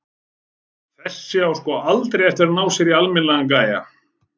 Þessi á sko aldrei eftir að ná sér í almennilegan gæja.